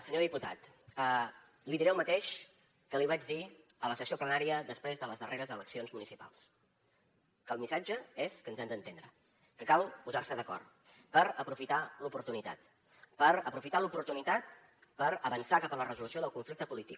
senyor diputat li diré el mateix que li vaig dir a la sessió plenària després de les darreres eleccions municipals que el missatge és que ens hem d’entendre que cal posar se d’acord per aprofitar l’oportunitat per aprofitar l’oportunitat per avançar cap a la resolució del conflicte polític